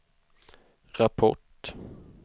rapport